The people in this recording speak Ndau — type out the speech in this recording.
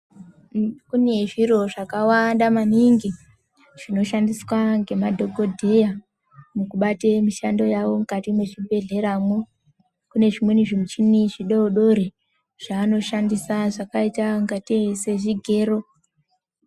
Kune zviro zvakawanda maningi, zvinoshandiswa ngemadhokodheya mukubate mishando yawo mukati mezvibhedhlera mo. Kunezvimweni zvimichini zvidodori zvanoshandisa zvakayita ngati sezvigero.